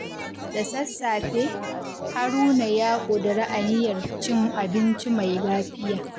Da sassafe, Haruna ya ƙudiri aniyar cin abinci mai lafiya.